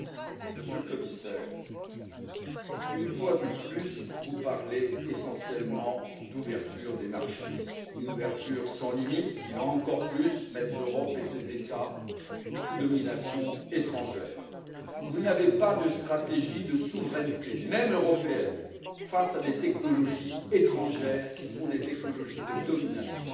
Monsieur le Président, Monsieur le Commissaire, une fois de plus, vous parlez essentiellement d'ouverture des marchés, une ouverture sans limites, qui va encore plus mettre l'Europe et ses États sous domination étrangère. Vous n'avez pas de stratégie de souveraineté, même européenne, face à des technologies étrangères qui sont des technologies de domination.